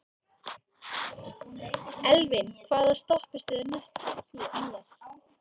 Elvin, hvaða stoppistöð er næst mér?